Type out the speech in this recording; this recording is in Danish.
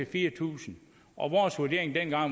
fire tusind og vores vurdering dengang var